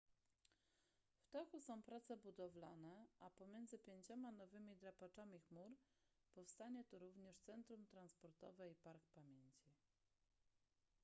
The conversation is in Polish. w toku są prace budowlane a pomiędzy pięcioma nowymi drapaczami chmur powstanie tu również centrum transportowe i park pamięci